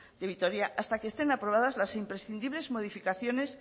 de vitoria hasta que estén aprobadas las imprescindibles modificaciones